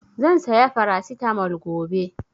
Zan saya Farasitamol gobe